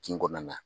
Kin kɔnɔna na